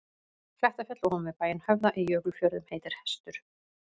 Klettafjall ofan við bæinn Höfða í Jökulfjörðum heitir Hestur.